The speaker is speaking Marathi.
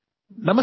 ऑडियो